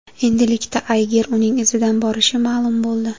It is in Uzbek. Endilikda Ayger uning izidan borishi ma’lum bo‘ldi.